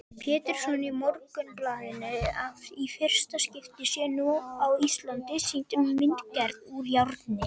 Pétursson í Morgunblaðinu að í fyrsta skipti sé nú á Íslandi sýnd myndgerð úr járni.